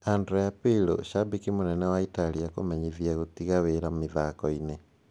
Andrea Pirlo:shambiki munene wa Italia kũmenyithia gũtiga wira mĩthakoini